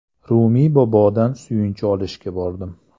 Rumiy bobodan suyunchi olishga bordim.